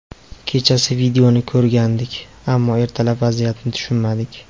Kechasi videoni ko‘rgandik, ammo ertalab vaziyatni tushunmadik.